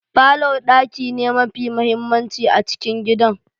Falor daki ne mafi mahimmanci a cikin gidan.